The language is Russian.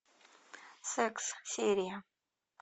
секс серия